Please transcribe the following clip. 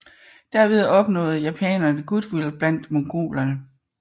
Derved opnåede japanerne goodwill blandt mongolerne